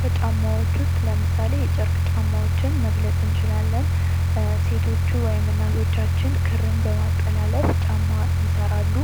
ከጫማዎች ዉስጥ ለምሳሌ የጨርቅ ጫማዎችን መግለጽ እንችላለን ሴቶች ወይም እናቶቻችን ክርን በማጠላለፍ ጫማን ይሰራሉ።